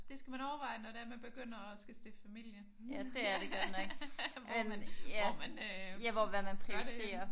Det skal man overveje når det er man begynder at skulle overveje at stifte familie. Hvor man hvor man øh gør det henne